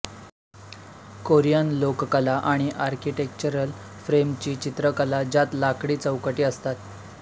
Korean लोककला आणि architectural फ्रेमची चित्रकला ज्यात लाकडी चौकटी असतात